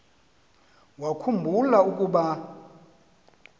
wakhu mbula ukuba